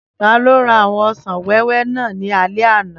Taló ra àwọn ọsàn wẹ́wẹ́ náà ní alé àná?